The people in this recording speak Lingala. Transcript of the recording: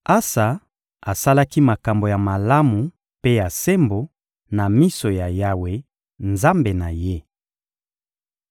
Asa asalaki makambo ya malamu mpe ya sembo na miso ya Yawe, Nzambe na ye.